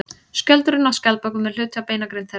Skjöldurinn á skjaldbökum er hluti af beinagrind þeirra.